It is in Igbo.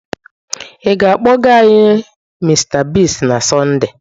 Ị ga-akpọga anyị Mr Biggs na Sọnde?